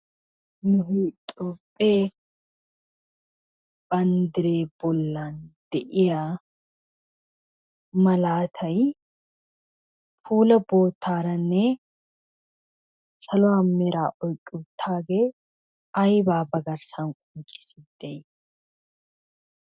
Nu toophphee banddiree bollen de'iya malaatay puulaa boottaaranne saluwa meraa oyqquuttaagee aybaa ba garssan qonccissiiddi de'ii?